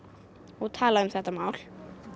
og tala um þetta mál